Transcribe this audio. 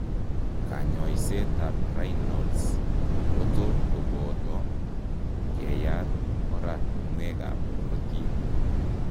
Kanyoiseet ab Raynad's kotot kobooto keyaat oratunwek ab korotiik